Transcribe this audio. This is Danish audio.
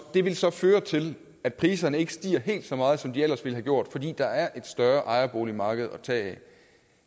det vil så føre til at priserne ikke stiger helt så meget som de ellers ville have gjort fordi der er et større ejerboligmarked at tage af